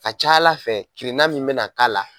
A ca Ala fɛ kirina min bɛna k'a la.